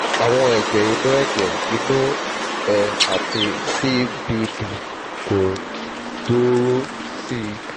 àwọn ẹ̀jẹ̀ inú ẹ̀jẹ̀ inú ẹ̀ àti cbd kò gbòòrò sí i